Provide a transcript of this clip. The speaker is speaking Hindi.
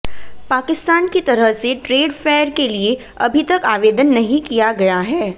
पाकिस्तान की तरह से ट्रेड फेयर के लिए अभी तक आवेदन नहीं किया गया है